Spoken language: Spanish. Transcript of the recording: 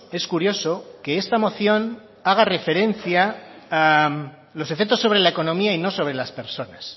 es curioso que esta moción haga referencia a los efectos sobre la economía y no sobre las personas